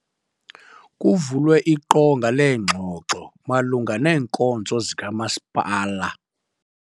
Kuvulwe iqonga leengxoxo malunga neenkonzo zikamasipala.